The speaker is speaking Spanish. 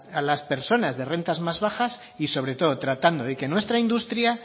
a las personas de rentas más bajas y sobre todo tratando de que nuestra industria